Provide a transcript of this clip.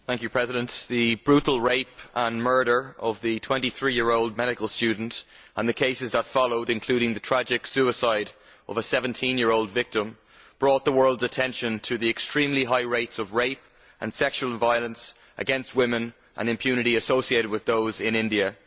Mr President, the brutal rape and murder of the twenty three year old medical student and the cases that followed, including the tragic suicide of a 17 year old victim, brought the world's attention to the extremely high rates of rape and sexual violence against women and impunity associated with those in India.